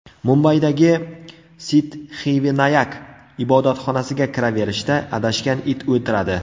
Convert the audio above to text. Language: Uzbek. Mumbaydagi Siddxivinayak ibodatxonasiga kiraverishda adashgan it o‘tiradi.